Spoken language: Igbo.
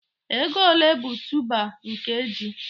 Ego ole bụ tuuba nke ji?